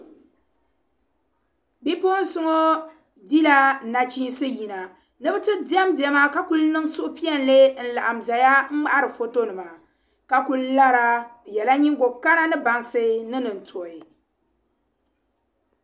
Bipuɣinsi ŋɔ dila man chinsi n yina, nibi ti dem dema. ka kuli niŋ suhu piɛli n-laɣim ʒɛya n ŋmahiri fɔto nima, ka kuli lara bɛ yela nyiŋgo kana ni bansi ni nin tuhi